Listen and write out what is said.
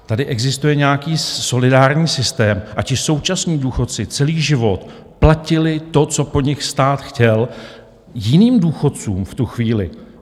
Tady existuje nějaký solidární systém, a ti současní důchodci celý život platili to, co po nich stát chtěl, jiným důchodcům v tu chvíli.